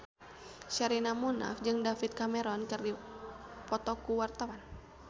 Sherina Munaf jeung David Cameron keur dipoto ku wartawan